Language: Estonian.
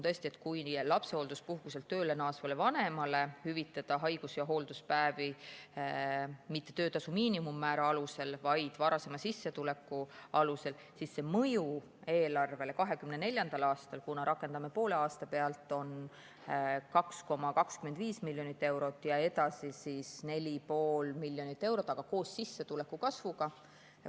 Tõesti, kui lapsehoolduspuhkuselt tööle naasvale vanemale hüvitada haigus‑ ja hoolduspäevi mitte töötasu miinimummäära alusel, vaid varasema sissetuleku alusel, siis see mõju eelarvele 2024. aastal, kuna rakendame seda poole aasta pealt, on 2,25 miljonit eurot ja edasi 4,5 miljonit eurot, aga koos sissetuleku kasvuga.